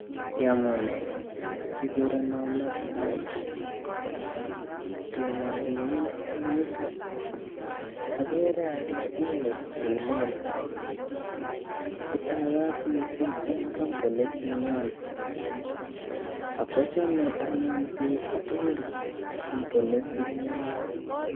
Yemune kigureno Matthew, toma agerin ing' yuutok ageere ale uni tiilel, itaagat miising' ing' kampunit ninyo akochame anyun biik tugul kampunit ninyo